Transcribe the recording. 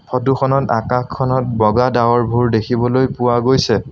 Photo খনত আকাশখনত বগা ডাৱৰভোৰ দেখিবলৈ পোৱা গৈছে।